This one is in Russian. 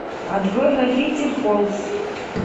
открой гравити фолз